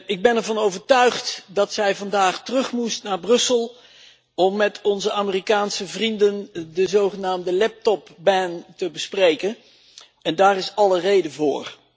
Ik ben ervan overtuigd dat zij vandaag terug moest naar Brussel om met onze Amerikaanse vrienden de zogenaamde te bespreken en daar is alle reden voor.